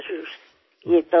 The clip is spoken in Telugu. నమస్కారం దీదీ